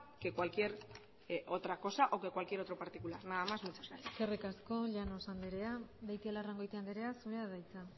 que cualquier otra cosa o que cualquier otro particular nada más muchas gracias eskerrik asko llanos andrea beitialarrangoitia andrea zurea da hitza